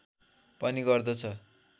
पनि गर्दछ